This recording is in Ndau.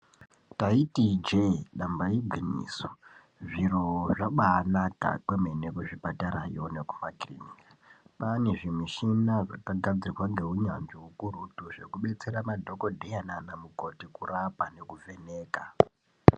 Taiti ijee damba igwinyiso zvir8 zvabaanaka kwemene kuzvipatarayo nekumakirinika. Kwaane zvimichini zvakagadzirwa ngeunyanzvi hukurutu zvekudetsera madhogodheya naana mukoti kurapa nekuvheneka.